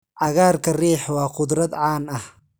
cagaarka riix waa khudrad caan ah.